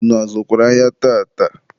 unu azụkwara ahịa tata?